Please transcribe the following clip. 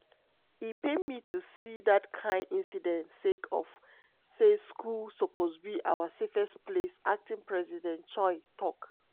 "e pain me to see dat kain incidents sake of say school suppose be our safest space" acting president choi tok.